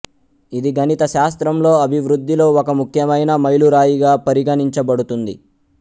ఇది గణిత శాస్త్రంలో అభివృద్ధిలో ఒక ముఖ్యమైన మైలురాయిగా పరిగణించబడుతుంది